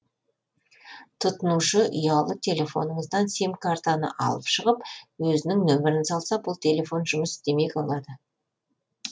тұтынушы ұялы телефоныңыздан сим картаны алып шығып өзінің нөмірін салса бұл телефон жұмыс істемей қалады